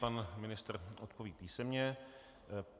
Pan ministr odpoví písemně.